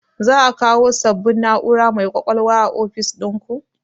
Za a kawo sabon na'ura mai ƙwaƙwalwa a ofis ɗinku?